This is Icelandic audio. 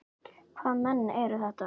Hvaða menn eru þetta?